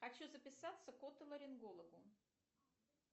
хочу записаться к отоларингологу